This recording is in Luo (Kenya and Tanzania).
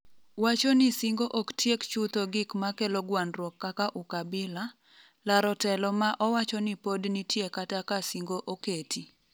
wacho ni singo ok tiek chutho gik makelo gwandruok kaka ukabila, laro telo ma owacho ni pod nitie kata ka singo oketi